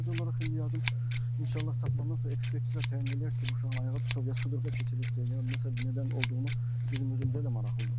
Sadəcə olaraq indi yəqin inşallah tapılandan sonra ekspertiza təyin eləyər ki, bu uşağın ayağı tutub, ya sudurqa keçibdi, ya nəsə nədən olduğunu bizim özümüzə də maraqlıdır.